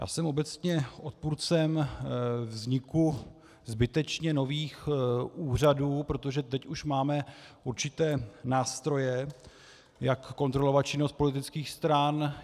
Já jsem obecně odpůrcem vzniku zbytečně nových úřadů, protože teď už máme určité nástroje, jak kontrolovat činnost politických stran.